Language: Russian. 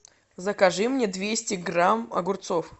закажи мне двести грамм огурцов